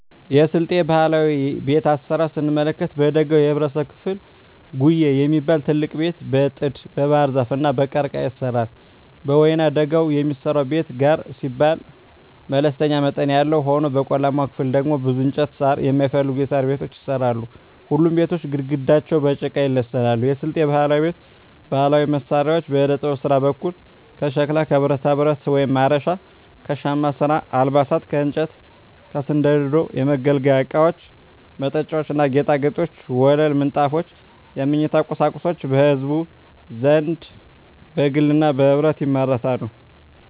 የስልጤ ባህላዊ ቤት አሰራር ስንመለከት በደጋው የህብረተሰብ ክፍል ጉዬ የሚባል ትልቅ ቤት በጥድ, በባህርዛፍ እና በቀርቀሀ ይሰራል። በወይናደጋው የሚሰራው ቤት ጋር ሲባል መለስተኛ መጠን ያለው ሆኖ በቆላማው ክፍል ደግሞ ብዙ እንጨትና ሳር የማይፈልጉ የሣር ቤቶች ይሰራሉ። ሁሉም ቤቶች ግድግዳቸው በጭቃ ይለሰናሉ። የስልጤ ባህላዊ ቤት ባህላዊ መሳሪያዎች በዕደጥበብ ስራ በኩል ከሸክላ ከብረታብረት (ማረሻ) ከሻማ ስራ አልባሳት ከእንጨት ከስንደዶ የመገልገያ እቃወች መጠጫዎች ና ጌጣጌጦች ወለል ምንጣፎች የመኝታ ቁሳቁሶች በህዝቡ ዘንድ በግልና በህብረት ይመረታሉ።